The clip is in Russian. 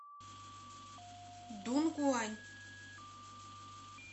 дунгуань